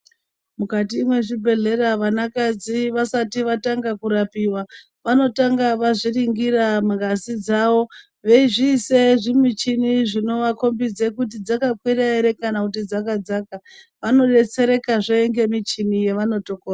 Mukati mwezvibhehleya vanakadzi vasati vatanga kurapiwa vanotanga vazviringira ngazi dzavo veizviise zvinichini zvinovakombidza dzakakwira ere kana kuti dzakadzaka vanodetserekazve ngemichini yavanoto.